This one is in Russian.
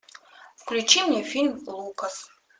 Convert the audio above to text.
включи мне фильм лукас